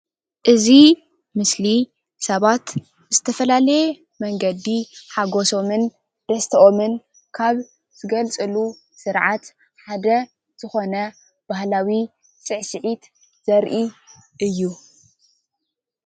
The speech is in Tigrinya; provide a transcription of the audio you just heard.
እዚ ምስሊ ሰባት ዝተፈላለየ መንገዲ ሓጎሶሙን ደስተኦሙን ካብ ዝገልፅሉ ስርዓት ሓደ ዝኾነ ባህላዊ ስዕስዒት ዘርኢ እዩ።